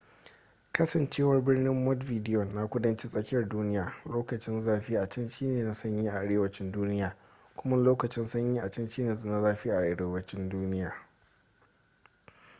kasancewar birnin montevideo na kudancin tsakiyar duniya lokacin zafi a can shine na sanyi a arewacin duniya kuma lokacin sanyi a can shine na zafi a arewacin duniya